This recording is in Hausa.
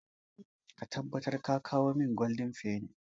Ka tabbatar ka kawo min goldin feni!